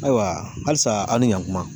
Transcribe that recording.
Ayiwa halisa an ni ɲankuma